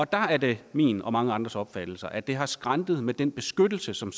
der er det min og mange andres opfattelse at det har skrantet med den beskyttelse som